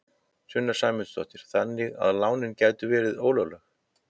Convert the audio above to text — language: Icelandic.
Sunna Sæmundsdóttir: Þannig að lánin gætu verið ólögleg?